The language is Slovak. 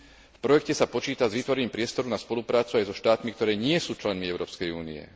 V projekte sa počíta s vytvorením priestoru na spoluprácu aj so štátmi, ktoré nie sú členmi Európskej únie.